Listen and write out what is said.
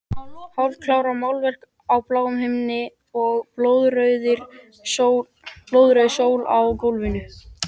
Hálfkarað málverk af bláum himni og blóðrauðri sól á gólfinu.